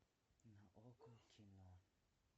на окко кино